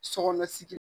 Sɔ kɔnɔ sigi